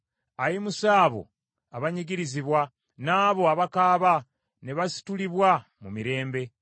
Ayimusa abo abanyigirizibwa n’abo abakaaba ne basitulibwa mu mirembe.